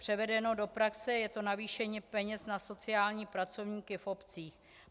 Převedeno do praxe je to navýšení peněz na sociální pracovníky v obcích.